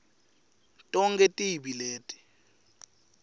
tonkhe tibi leti